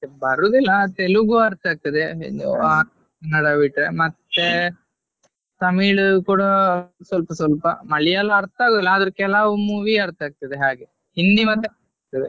ಬರುದಿಲ್ಲಾ ತೆಲುಗು ಅರ್ಥ ಆಗ್ತದೆ ಆ ಬಿಟ್ಟು ಮತ್ತೆ ತಮಿಳು ಕೂಡ ಸ್ವಲ್ಪ ಸ್ವಲ್ಪ ಮಲಿಯಾಳ ಅರ್ಥ ಆಗುದಿಲ್ಲ ಆದ್ರೂ ಕೆಲಾವ್ movie ಅರ್ಥ ಆಗ್ತದೆ ಹಾಗೆ ಹಿಂದಿ ಮಾತ್ರ ಅರ್ಥ ಆಗ್ತದೆ.